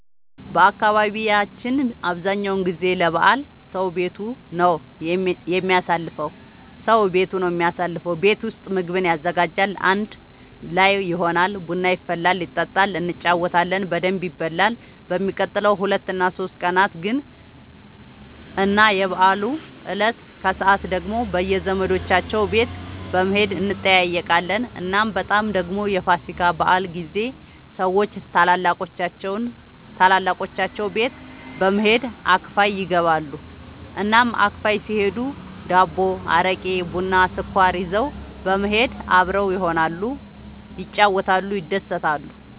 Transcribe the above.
በአካባቢያችን አብዛኛው ጊዜ ለበዓል ሰዉ ቤቱ ነው የሚያሳልፈው። ቤት ውስጥ ምግቡን ያዘጋጃል፣ አንድ ላይ ይሆናል፣ ቡና ይፈላል ይጠጣል እንጫወታለን በደንብ ይበላል በሚቀጥሉት ሁለት እና ሶስት ቀናት ግን እና የበዓሉ እለት ከሰዓት ደግሞ በየዘመዶቻቸው ቤት በመሄድ እንጠያየቃለን። እናም በጣም ደግሞ የፋሲካ በዓል ጊዜ ሰዎች ታላላቆቻቸው ቤት በመሄድ አክፋይ ይገባሉ። እናም አክፋይ ሲሄዱ ዳቦ፣ አረቄ፣ ቡና፣ ስኳር ይዘው በመሄድ አብረው ይሆናሉ፣ ይጫወታሉ፣ ይደሰታሉ።